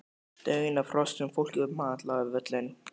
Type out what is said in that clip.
Daunn af hrossum, fólki og mat lá yfir völlunum.